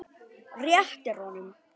Réttir honum.